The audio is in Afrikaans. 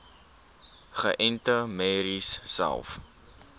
geënte merries selfs